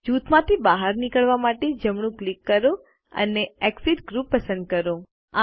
જૂથમાંથી બહાર નીકળવા માટે જમણું ક્લિક કરો અને એક્સિટ ગ્રુપ પસંદ કરો